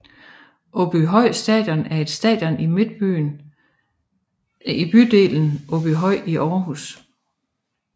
Aabyhøj Stadion er et stadion i bydelen Åbyhøj i Aarhus